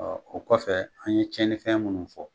o kɔfɛ an ye tiɲɛnifɛn minnu fɔ